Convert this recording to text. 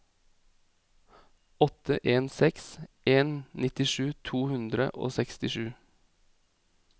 åtte en seks en nittisju to hundre og sekstisju